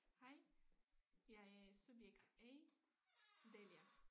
Hej jeg er subjekt A Delia